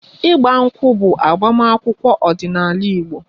Igba nkwu bụ agbamakwụkwọ ọdinaala igbo